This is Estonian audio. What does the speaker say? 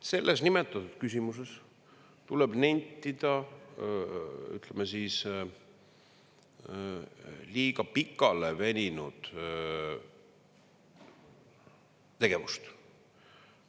Selles praeguses küsimuses tuleb nentida, ütleme siis, liiga pikaleveninud tegevust.